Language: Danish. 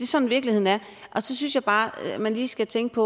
sådan virkeligheden er og så synes jeg bare man lige skal tænke